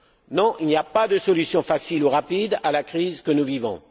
Non, il n'y a pas de solution facile ou rapide à la crise que nous vivons.